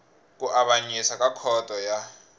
ku avanyisa ka khoto ya